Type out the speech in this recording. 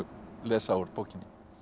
lesa úr bókinni